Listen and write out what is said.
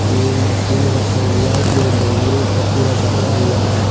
ये मशीन रखा हुआ है जो लोहे का पूरा बना हुआ है।